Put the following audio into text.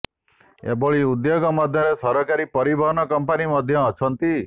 ଏଭଳି ଉଦ୍ୟୋଗ ମଧ୍ୟରେ ସରକାରୀ ପରିବହନ କଂପାନୀ ମଧ୍ୟ ଅଛନ୍ତି